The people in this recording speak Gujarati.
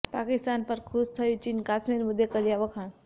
પાકિસ્તાન પર ખુશ થયુ ચીન કશ્મીર મુદ્દે કર્યા વખાણ